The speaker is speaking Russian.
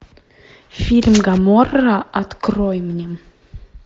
фильм гоморра открой мне